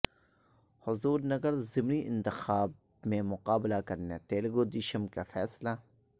حضور نگر ضمنی انتخاب میں مقابلہ کرنے تلگودیشم کا فیصلہ